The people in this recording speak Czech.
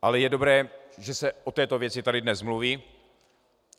Ale je dobré, že se o této věci tady dnes mluví.